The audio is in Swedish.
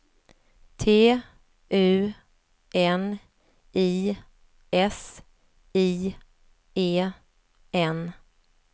T U N I S I E N